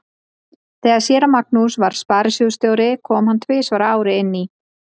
Þegar séra Magnús var sparisjóðsstjóri kom hann tvisvar á ári inn í